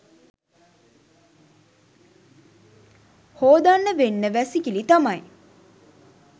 හෝදන්න වෙන්න වැසිකිලි තමයි.